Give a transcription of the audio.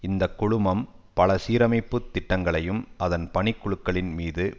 இந்த குழுமம் பல சீரமைப்பு திட்டங்களையும் அதன் பணிக்குழுக்களின் மீது